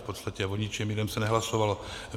V podstatě o ničem jiném se nehlasovalo.